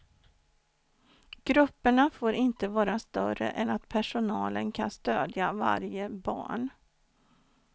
Grupperna får inte vara större än att personalen kan stödja varje barn.